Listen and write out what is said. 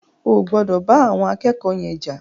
O ò gbọdọ̀ bá àwọn akẹ́kọ̀ọ́ yen jà.